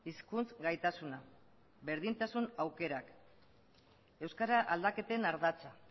hizkuntz gaitasuna berdintasun aukerak euskara aldaketen ardatza